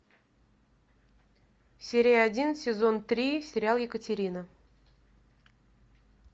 серия один сезон три сериал екатерина